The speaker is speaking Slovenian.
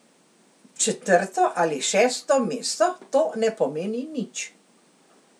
Četrto ali šesto mesto, to ne pomeni nič.